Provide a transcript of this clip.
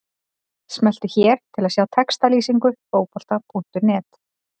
Smelltu hér til að sjá textalýsingu Fótbolta.net.